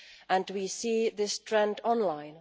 and we see this trend online.